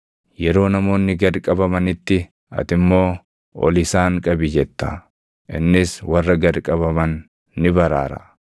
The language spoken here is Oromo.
Yeroo namoonni gad qabamanitti ati immoo, ‘Ol isaan qabi!’ jetta; innis warra gad qabaman ni baraara.